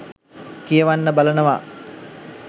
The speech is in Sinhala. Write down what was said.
කියවන්න බලනවා.